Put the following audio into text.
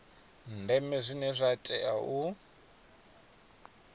ndeme zwine zwa tea u